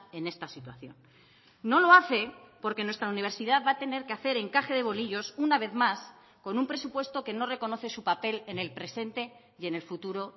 en esta situación no lo hace porque nuestra universidad va a tener que hacer encaje de bolillos una vez más con un presupuesto que no reconoce su papel en el presente y en el futuro